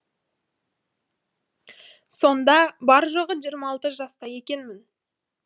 сонда бар жоғы жиырма алты жаста екенмін